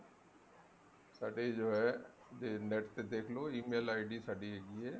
ਸਾਡੇ ਜੋ ਹੈ NET ਤੇ ਦੇਖਲੋ e mail id ਸਾਡੀ ਜੋ ਹੈ